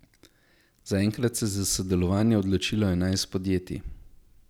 Zaenkrat se je za sodelovanje odločilo enajst podjetij.